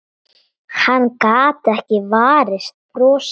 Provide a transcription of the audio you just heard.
Hann gat ekki varist brosi.